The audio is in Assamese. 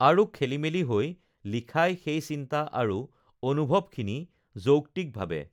আৰু খেলিমেলি হৈ লিখাই সেই চিন্তা আৰু অনুভৱখিনি যৌক্তিকভাৱে